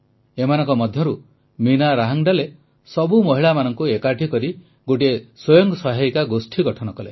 ଏମାନଙ୍କ ମଧ୍ୟରୁ ମୀନା ରାହାଙ୍ଗଡାଲେ ସବୁ ମହିଳାମାନଙ୍କୁ ଏକାଠି କରି ଗୋଟିଏ ସ୍ୱୟଂ ସହାୟକ ଗୋଷ୍ଠୀ ଗଠନ କଲେ